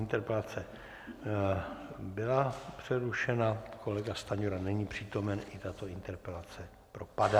Interpelace byla přerušena, kolega Stanjura není přítomen, i tato interpelace propadá.